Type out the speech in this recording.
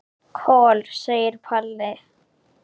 Kol, segir Palli.